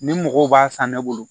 Ni mɔgɔw b'a san ne bolo